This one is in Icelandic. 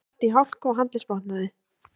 Datt í hálku og handleggsbrotnaði